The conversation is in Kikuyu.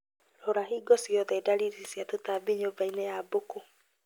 Rora hingo ciothe dalili cia tũtambi nyũmbainĩ ya mbũkũ